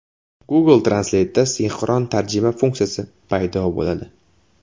Google Translate’da sinxron tarjima funksiyasi paydo bo‘ladi.